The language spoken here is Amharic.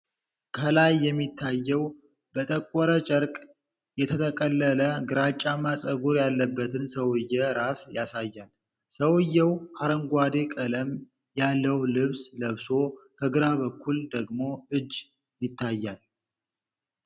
ከላይ የሚታየው በጠቆረ ጨርቅ የተጠቀለለ ግራጫማ ፀጉር ያለበትን ሰው ራስ ያሳያል። ሰውዬው አረንጓዴ ቀለም ያለው ልብስ ለብሶ፤ ከግራ በኩል ደግሞ እጅ ይታያል።